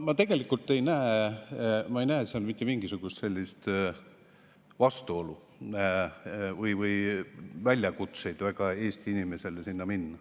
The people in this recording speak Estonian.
Ma tegelikult ei näe mitte mingisugust vastuolu või erilisi väljakutseid Eesti inimesele sinna minnes.